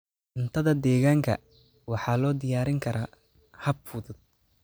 Cuntada deegaanka waxaa loo diyaarin karaa hab fudud.